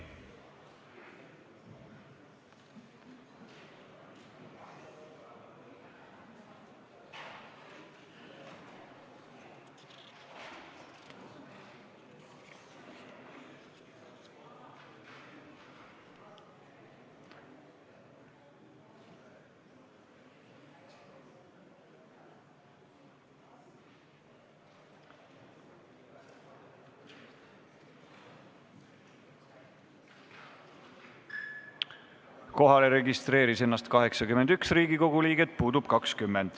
Kohaloleku kontroll Kohalolijaks registreeris ennast 81 Riigikogu liiget, puudub 20.